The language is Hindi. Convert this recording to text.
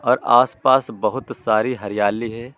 और आस पास बहुत सारी हरियाली है।